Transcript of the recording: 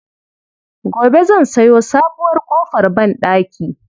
Gobe zan sayo sabuwar ƙofar banɗaki.